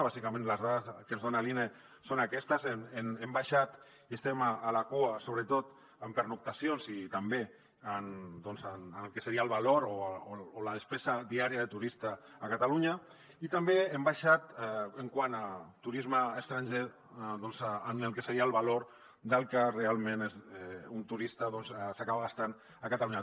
bàsicament les dades que ens dona l’ine són aquestes hem baixat i estem a la cua sobretot en pernoctacions i també en el que seria el valor o la despesa diària de turista a catalunya i també hem baixat quant a turisme estranger en el que seria el valor del que realment un turista s’acaba gastant a catalunya